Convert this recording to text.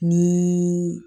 Ni